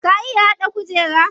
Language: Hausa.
Ka iya haɗa kujera?